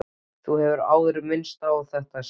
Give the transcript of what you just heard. Þú hefur áður minnst á þetta, segir Edda.